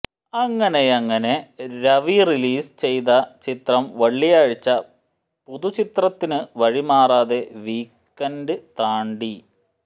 അങ്ങനെയങ്ങനെ രവി റിലീസ് ചെയ്തചിത്രം വെള്ളിയാഴ്ച പുതുചിത്രത്തിനു വഴിമാറാതെ വീക്കെന്റ് താണ്ടി